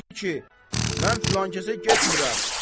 Deyir ki, mən filankəsə getmirəm.